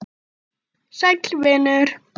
Sæll vinur